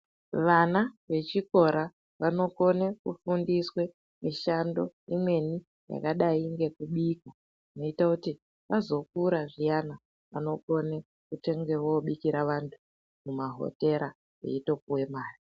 Vana vechikora vanokone kufundiswe mishando imweni yakadai ngekubika. Zvinoita kuti azokura zviyana anokone kutenge vobikira vantu mumahotera veitopuve mari.